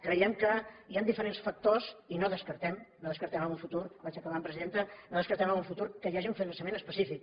creiem que hi han diferents factors i no descartem no descartem en el futur vaig acabant presidenta que hi hagi un finançament específic